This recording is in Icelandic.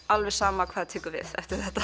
alveg sama hvað tekur við eftir þetta